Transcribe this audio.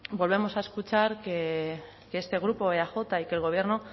volvemos a escuchar que este grupo eaj y que el gobierno